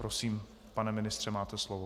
Prosím, pane ministře, máte slovo.